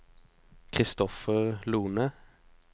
Christopher Lohne